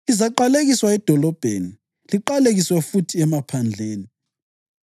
Lizaqalekiswa edolobheni, liqalekiswe futhi emaphandleni.